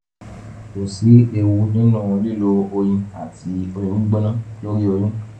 kò sí ewu nínú lílo oyin àti omi gbígbóná lórí oyún